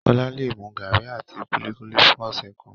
Kọla le mu garri àti kulikuli fún ọsẹ kan.